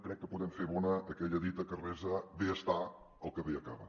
crec que podem fer bona aquella dita que resa bé està el que bé acaba